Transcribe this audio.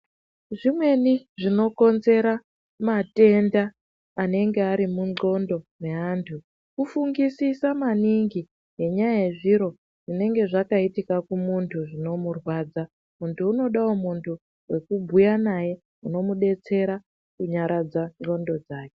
Zvimweni zvinokonzera matenda anenge ari mundxondo meantu kufungisisa maningi ngenyaya yezviro zvinenge zvakaitika kumuntu zvinomurwadza. Muntu unodawo muntu wekubhuya naye unomudetsera kunyaradza ndxondo dzake.